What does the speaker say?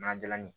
N'a jala ni